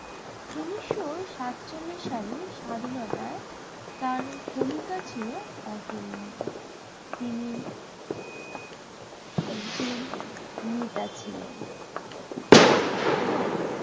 উনিশশো সাতচল্লিশ সালে স্বাধীনতায় তার ভূমিকা ছিল অতুলনীয়। তিনি একজন নেতা ছিলেন এবং